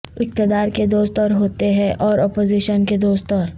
اقتدار کے دوست اور ہوتے ہیں اور اپوزیشن کے دوست اور